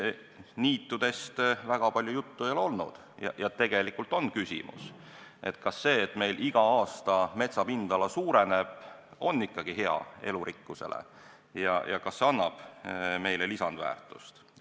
Niitudest väga palju juttu ei ole olnud ja tegelikult on küsimus, kas see, et meil iga aasta metsa pindala suureneb, on ikka hea elurikkuse seisukohast, kas see annab meile lisandväärtust.